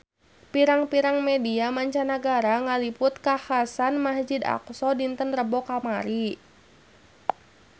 Pirang-pirang media mancanagara ngaliput kakhasan di Masjid Aqsa dinten Rebo kamari